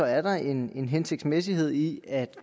er der en hensigtsmæssighed i at